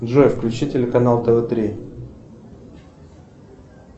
джой включи телеканал тв три